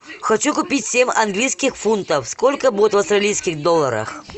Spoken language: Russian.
хочу купить семь английских фунтов сколько будет в австралийских долларах